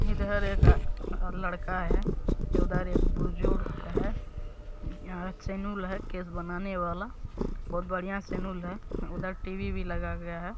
इधर एक आ लड़का है उधर एक बुज़ुर्ग है यहाँ सैनुल केस बनाने वाला बहुत बढ़िया सैनुल है उधर टी-वी भी लगा गया है।